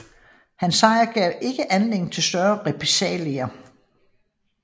Hans sejr gav ikke anledning til større repressalier